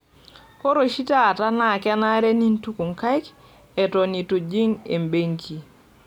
Ore oshi taata na kenare nintuku nkaik eton eitu ijing' benki.